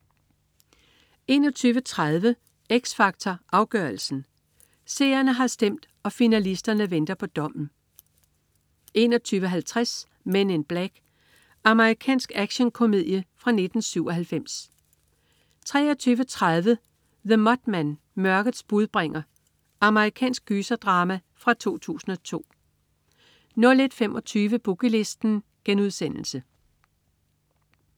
21.30 X Factor Afgørelsen. Seerne har stemt, og finalisterne venter på dommen 21.50 Men in Black. Amerikansk actionkomedie fra 1997 23.30 The Mothman. Mørkets budbringer. Amerikansk gyserdrama fra 2002 01.25 Boogie Listen*